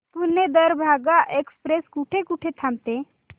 Pune Darbhanga express कुठे कुठे थांबते